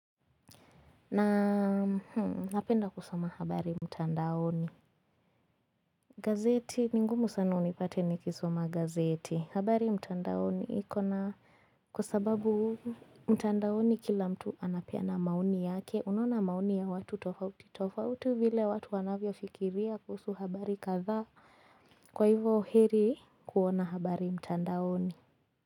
Na napenda kusoma habari mtandaoni gazeti, ni ngumu sana unipate nikisoma gazeti, habari mtandaoni ikona Kwa sababu mtandaoni kila mtu anapeana maoni yake, unaona maoni ya watu tofauti tofauti vile watu wanavyo fikiria kuhusu habari kadhaa kwa hivyo heri kuona habari mtandaoni.